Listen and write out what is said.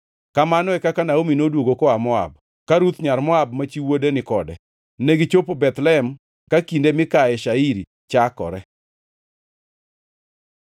Kamano e kaka Naomi noduogo koa Moab, ka Ruth nyar Moab, ma chi wuode, ni kode. Negichopo Bethlehem ka kinde mikaye shairi chakore.